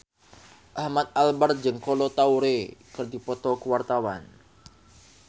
Ahmad Albar jeung Kolo Taure keur dipoto ku wartawan